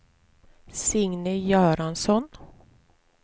Signe Göransson